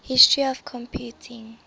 history of computing